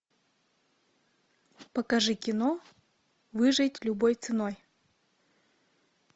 покажи кино выжить любой ценой